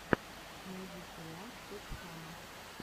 найди сериал стоп хама